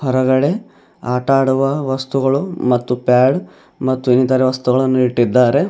ಹೊರಗಡೆ ಆಟಡುವ ವಸ್ತುಗಳು ಮತ್ತು ಪ್ಯಾಡ್ ಮತ್ತು ಇನ್ನಿತರೆ ವಸ್ತುಗಳನ್ನು ಇಟ್ಟಿದ್ದಾರೆ.